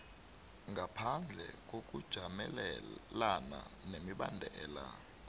ngaphandle kokujamelana nemibandela